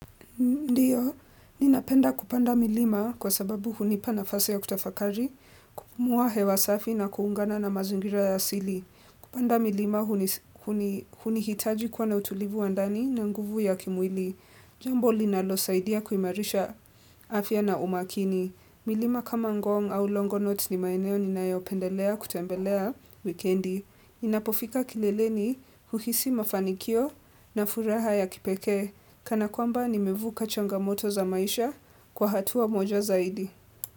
Ninapenda kupanda milima kwa sababu hunipa na fasi ya kutafakari, kupumua hewa safi na kuungana na mazingira ya asili. Kupanda milima huni hitaji kuwa na utulivu wa ndani na nguvu ya kimwili. Jambo linalo saidia kuimarisha afya na umakini. Milima kama ngong au longonot ni maeneo ni nayopendelea kutembelea wikendi. Inapofika kileleni huhisi mafanikio na furaha ya kipekee. Kana kwamba nimevuka changamoto za maisha kwa hatua moja zaidi.